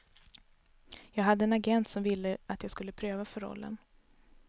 Jag hade en agent som ville att jag skulle pröva för rollen.